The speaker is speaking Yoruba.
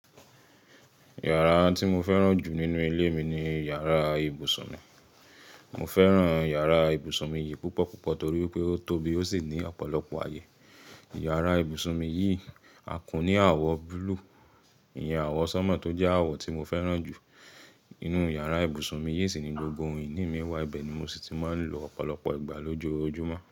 Yàrá tí mo fẹ́ràn jù nínú ilé mi ni yàrá ibùsùn mi. Mo fẹ́ràn iyàrá ibùsùn mi yìí púpọ̀ púpọ̀ torí pé ó tóbi ó sì ní ọ̀pọ̀lọpọ̀ ayé. Yàrá ibùsùn mi yìí àkún ní àwọ̀ búlúù, ìyẹn àwọ̀ sánmọ̀ tó jẹ́ àwọ̀ tí mo fẹ́ràn jù. Inú yàrá ibùsùn mi yìí sì ni gbogbo ohun ìní mi wà, ibẹ̀ ni mo sì ti máa ń lọ ọ̀pọ̀lọpọ̀ ìgbà lójoojúmọ́.